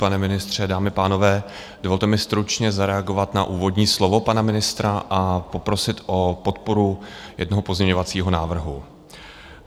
Pane ministře, dámy a pánové, dovolte mi stručně zareagovat na úvodní slovo pana ministra a poprosit o podporu jednoho pozměňovacího návrhu.